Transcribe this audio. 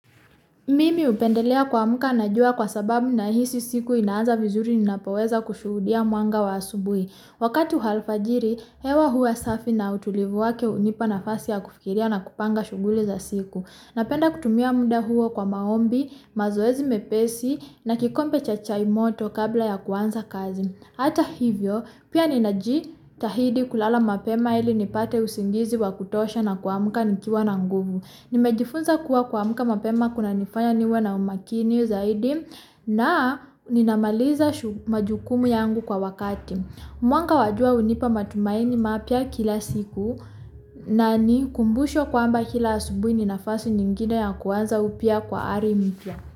Mimi upendelea kuamka najua kwa sababu nahisi siku inaaza vizuri ninapeweza kushuudia mwanga wa asubui. Wakatu alfajiri, hewa huwa safi na utulivuwake unipa nafasi ya kufikiria na kupanga shughuli za siku. Napenda kutumia muda huo kwa maombi, mazoezi mepesi na kikombe cha cha imoto kabla ya kuanza kazi. Hata hivyo, pia ninajitahidi kulala mapema ili nipate usingizi wa kutosha na kwa muka nikiwa nangubu. Nimejifunza kwa kwa muka mapema kuna nifanya niwa na umakini ya zaidi na ninamaliza shuku majukumu yangu kwa wakati. Mwanga wa jua unipa matumaini mapia kila siku na ni kumbusho kwa mba kila asubui ninafasi nyingine ya kwanza upia kwa arimipia.